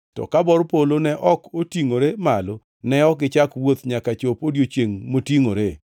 to ka bor polo ne ok otingʼore malo ne ok gichak wuoth nyaka chop odiechiengʼ motingʼore.